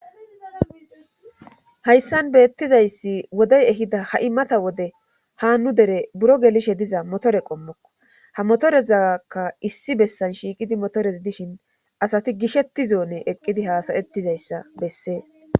hayssan beettizayssi wodey ehida ha'i mada wode ha nu dere buro gelishe diza motore qommokko ha motorezaakka issi bessan shiiqidi motores dishin asati gishetti zoone eqqidi haasayettizayssa bessees